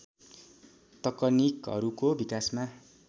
तकनीकहरूको विकासमा